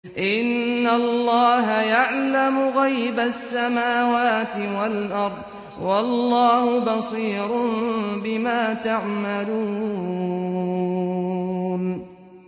إِنَّ اللَّهَ يَعْلَمُ غَيْبَ السَّمَاوَاتِ وَالْأَرْضِ ۚ وَاللَّهُ بَصِيرٌ بِمَا تَعْمَلُونَ